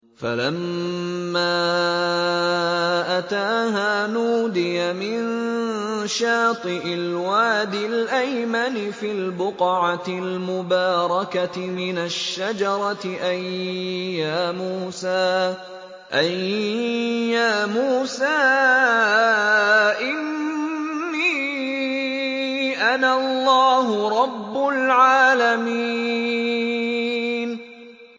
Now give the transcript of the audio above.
فَلَمَّا أَتَاهَا نُودِيَ مِن شَاطِئِ الْوَادِ الْأَيْمَنِ فِي الْبُقْعَةِ الْمُبَارَكَةِ مِنَ الشَّجَرَةِ أَن يَا مُوسَىٰ إِنِّي أَنَا اللَّهُ رَبُّ الْعَالَمِينَ